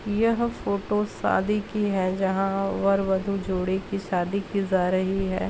यह फोटो सादी की है जहाँ वर-वधू जोड़े की शादी की ज़ा रही है।